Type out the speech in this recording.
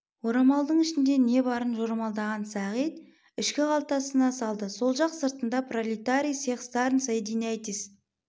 орамалдың ішінде не барын жорамалдаған сағит ішкі қалтасына салды сол жақ сыртында пролетарии всех стран соединяйтесь